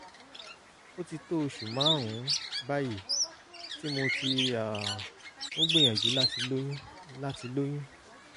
ó ti tó oṣù márùn-ún báyìí tí mo ti um ń gbìyànjú láti lóyún láti lóyún